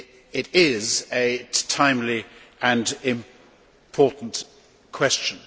It is a timely and important question.